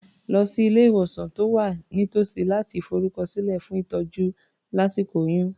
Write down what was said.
Lọ sí ilé-ìwòsàn tó wà nítòsí láti forúkọsílẹ̀ fún ìtọ́jú lásíkò oyún.